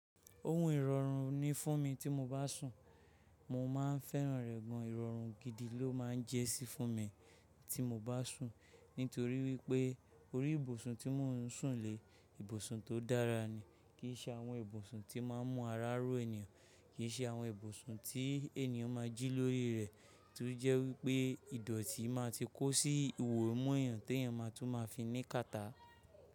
Ohun ìrọ̀rùn ni fún mi tí mo bá sùn. Mo máa ń fẹ́ràn rẹ̀ gan. Ìrọ̀rùn gidi ló máa ń jẹ́ sí fún mi tí mo bá sùn. Nítorí wípé orí ìbùsùn tí mò ń sùn lé, ibùsùn tó dára ni. Kì í ṣe àwọn ibùsùn tí máa ń mú ara ró ènìyàn, kì í ṣe àwọn ibùsùn tí ènìyàn máa jí lórí rẹ̀, tó jẹ́ wípé ìdọ̀tí máa ti kó sí ìwò imu èèyàn te èèyàn máa tún máa fi ní kàtà.